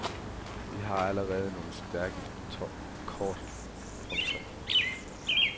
Vi har allerede nogle stærke kort. punktum